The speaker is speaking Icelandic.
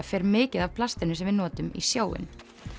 fer mikið af plastinu sem við notum í sjóinn